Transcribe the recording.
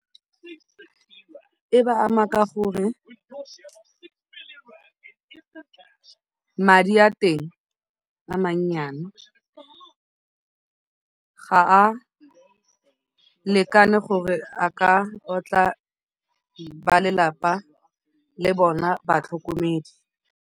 E ba ama ka gore madi a teng a mannyane, ga a lekane gore a ka otla balelapa le bona batlhokomedi.